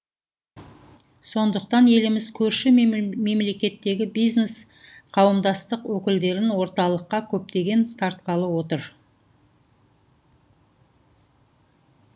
сондықтан еліміз көрші мемлекеттегі бизнес қауымдастық өкілдерін орталыққа көптеп тартқалы отыр